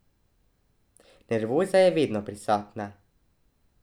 Nervoza je vedno prisotna.